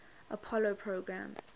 apollo program